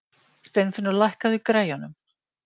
Steinfinnur, lækkaðu í græjunum.